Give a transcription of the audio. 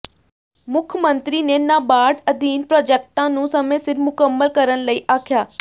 ਮੁੱਖ ਮੰਤਰੀ ਨੇ ਨਾਬਾਰਡ ਅਧੀਨ ਪ੍ਰਾਜੈਕਟਾਂ ਨੂੰ ਸਮੇਂ ਸਿਰ ਮੁਕੰਮਲ ਕਰਨ ਲਈ ਆਖਿਆ